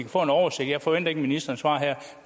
få en oversigt jeg forventer ikke at ministeren svarer her